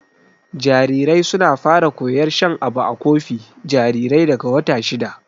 Jarirai suna fara koyar shan abu a kofi jarirai daga wata shida.